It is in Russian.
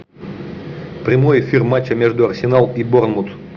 прямой эфир матча между арсенал и борнмут